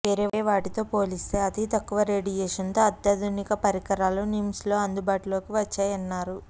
వేరే వాటితో పోలిస్తే అతి తక్కువ రేడియేషన్తో అత్యాధునిక పరికరాలు నిమ్స్ లో అందుబాటులోకి వచ్చాయన్నారు